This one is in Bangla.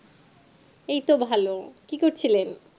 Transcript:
এই তো ভালো কি করছিলেন